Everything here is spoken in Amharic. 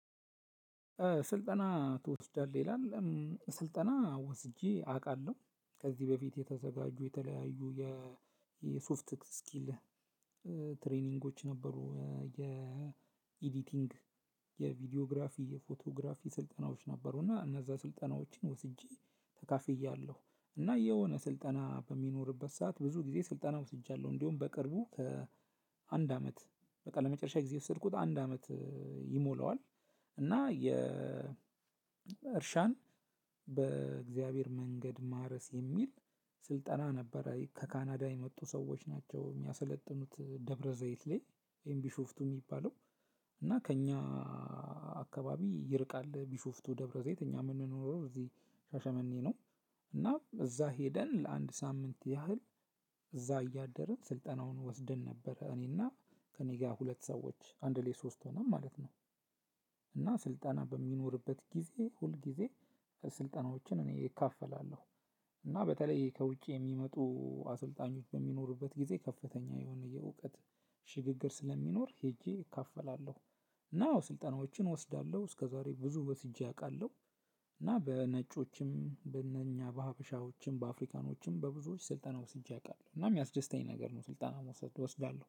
ስልጠና ትወስዳለህ? ይላል ስልጠና ወስጄ አውቃለሁ። ከዚህ በፊት የተዘጋጁ የተለያዩ የሶፍት ስኪል ትሬኒንጎች ነበሩ፣ የኤዲቲንግ፣ የቪዲዮግራፊ፣ የፎቶግራፊ ስልጠናዎች ነበሩና እነዛ ስልጠናዎችን ወስጄ ተካፍያለሁ። እና የሆነ ስልጠና በሚኖርበት ሰዓት ብዙ ጊዜ ስልጠና ወስጃለሁ። እንዲሁም በቅርቡ ከአንድ አመት፣ በቃ ለመጨረሻ ጊዜ የሰድኩት አንድ አመት ይሞላዋል። እና የእርሻን በእግዚአብሔር መንገድ ማረስ የሚል ስልጠና ነበር ከካናዳ የመጡ ሰዎች ናቸው የሚያሰለጥኑት ደብረዘይት ላይ ወይም ቢሾፍቱ የሚባለው እና ከእኛ አከባቢ ይርቃል ቢሾፍቱ፣ ደብረዘይት። እኛ የምንኖረው እዚህ ሻሸመኔ ነው። እና እዛ ሄደን ለአንድ ሳምንት ያህል እዛ እያደርን ስልጠናውን ወስደን ነበረ፣ እኔ እና ከእኔ ጋር ሁለት ሰዎች አንድ ላይ ሶስት ሆነን ማለት ነው። እና ስልጠና በሚኖርበት ጊዜ ሁል ጊዜ ስልጠናዎችን እኔ እካፈላለሁ። እና በተለይ ከውጭ የሚመጡ አሰልጣኞች በሚኖሩበት ጊዜ ከፍተኛ የሆነ የእውቀት ሽግግር ስለሚኖር ሄጄ እካፈላለሁ። እና ስልጠናዎችን እወስዳለሁ፣ እስከዛሬ ብዙ ወስጄ አውቃለሁ። እና በነጮችም፣ በእነኛ በሀበሻዎችም፣ በአፍሪካኖችም በብዙዎች ስልጠና ወስጄ አውቃለሁ። እና የሚያስደስተኝ ነገር ነው ስልጠና መውሰድ፣ ወስዳለሁ።